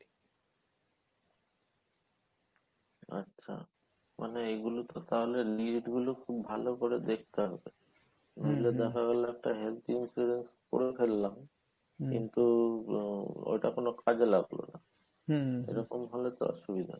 আচ্ছা মানে এগুলোতো তাহলে lead গুলো খুব ভালো করে দেখতে হবে নাইলে দেখা গেলো একটা health insurance করে ফেললাম কিন্তু ওটা কোনো কাজে লাগলো না এরকম হলে তো অসুবিধা।